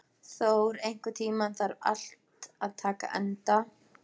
Thór, einhvern tímann þarf allt að taka enda.